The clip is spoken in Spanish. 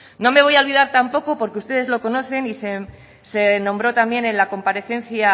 no me voy a olvidar tampoco porque ustedes lo conocen y se nombró también en la comparecencia